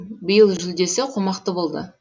биыл жүлдесі қомақты болды